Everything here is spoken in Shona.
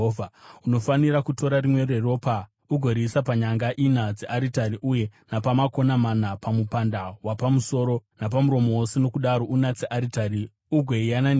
Unofanira kutora rimwe reropa ugoriisa panyanga ina dzearitari uye napamakona mana pamupanda wapamusoro napamuromo wose, nokudaro unatse aritari ugoiyananisira.